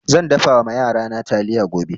Zan dafa ma yarana taliya gobe.